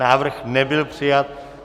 Návrh nebyl přijat.